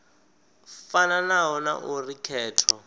fanaho na a uri khetho